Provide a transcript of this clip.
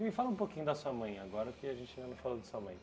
Me fala um pouquinho da sua mãe, agora que a gente ainda não falou da sua mãe.